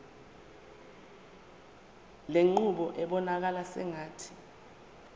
lenqubo ibonakala sengathi